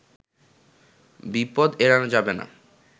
বিপদ এড়ানো যাবে না